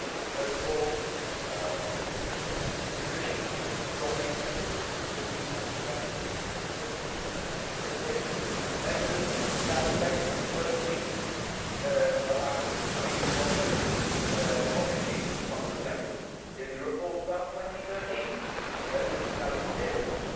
First of all, this Commission is strongly committed to improving transparency and accountability. We have taken measures to that effect in the first weeks of coming into office. Obviously this is not reflected in the report about 2013, which is now two years ago.